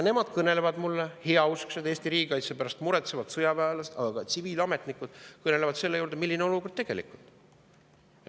Nad kõnelevad ka mulle, heausksed Eesti riigikaitse pärast muretsevad sõjaväelased, aga kõnelevad ka tsiviilametnikud, milline on olukord tegelikult.